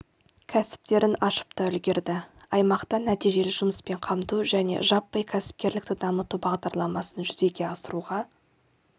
кәсіптерін ашып та үлгерді аймақта нәтижелі жұмыспен қамту және жаппай кәсіпкерлікті дамыту бағдарламасын жүзеге асыруға